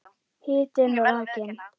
Hitinn og rakinn.